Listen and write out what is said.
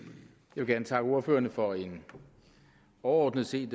vil gerne takke ordførerne for en overordnet set